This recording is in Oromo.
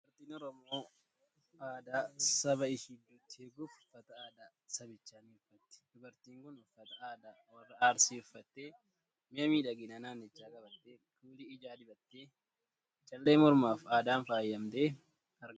Dubartiin Oromoo aadaa saba ishii iddootti eeguuf uffata aadaa sabichaa ni uffatti. Dubartiin kun uffata aadaa Warra Arsii uffattee, mi'a miidhaginaa naannichaa qabattee, kuulii ijaa dibattee, callee mormaa fi addaan faayamtee argamti.